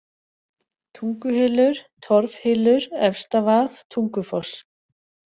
Tunguhylur, Torfhylur, Efstavað, Tungufoss